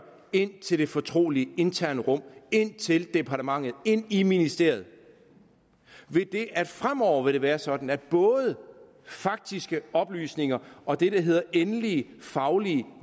ind til de fortrolige interne rum ind til departementet ind i ministeriet ved det at det fremover vil være sådan at både faktiske oplysninger og det der hedder endelige faglige